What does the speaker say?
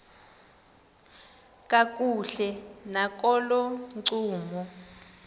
kakuhle nakolo ncumo